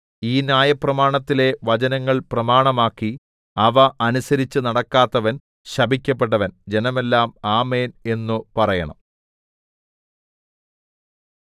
ഈ ന്യായപ്രമാണത്തിലെ വചനങ്ങൾ പ്രമാണമാക്കി അവ അനുസരിച്ചു നടക്കാത്തവൻ ശപിക്കപ്പെട്ടവൻ ജനമെല്ലാം ആമേൻ എന്നു പറയണം